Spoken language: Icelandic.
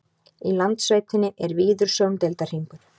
í landsveitinni er víður sjóndeildarhringur